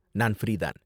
நான் ஃப்ரீ தான்.